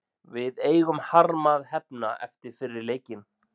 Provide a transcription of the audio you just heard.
Við eigum harma að hefna eftir fyrri leikinn.